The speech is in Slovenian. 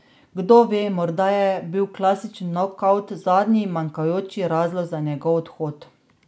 Kdo ve, morda je bil klasični nokavt zadnji manjkajoči razlog za njegov odhod.